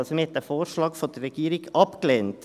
man hat also den Vorschlag der Regierung abgelehnt.